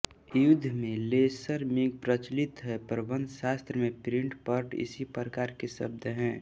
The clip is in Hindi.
युद्ध में लेसर मिग प्रचलित हैं प्रबन्धशास्त्र में प्रिन्स पर्ट इसी प्रकार के शब्द हैं